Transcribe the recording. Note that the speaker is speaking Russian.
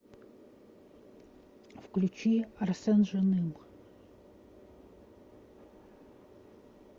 включи арсен жаным